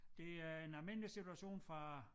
Det er en almindelig situation fra